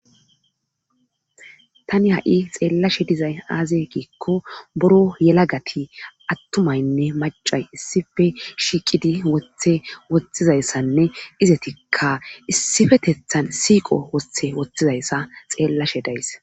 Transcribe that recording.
Tani ha'i xeelashe dizay aaze giikko buro yelagati attumaynne maccay issippe shiiqidi wothidayyssanne izatikka issipetethan siiqo wothe woxxidayssa xeelashe days.